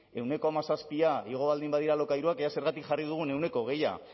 ehuneko hamazazpi igo baldin badira alokairuak ea zergatik jarri dugun ehuneko hogei